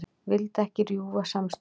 Vildi ekki rjúfa samstöðuna